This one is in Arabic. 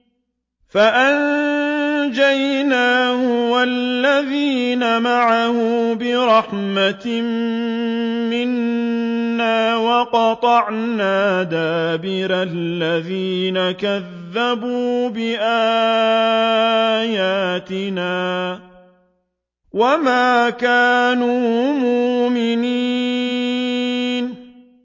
فَأَنجَيْنَاهُ وَالَّذِينَ مَعَهُ بِرَحْمَةٍ مِّنَّا وَقَطَعْنَا دَابِرَ الَّذِينَ كَذَّبُوا بِآيَاتِنَا ۖ وَمَا كَانُوا مُؤْمِنِينَ